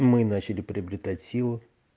мы начали приобретать силу